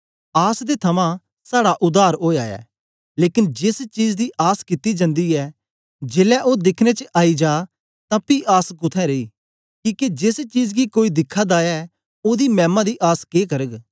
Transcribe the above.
आस दे थमां साड़ा उद्धार ओया ऐ लेकन जेस चीज दी आस कित्ती जन्दी ऐ जेलै ओ दिखने च आई जा तां पी आस कुत्थें रेई किके जेस चीज गी कोई दिखा दा ऐ ओदी मैमा दी आस के करग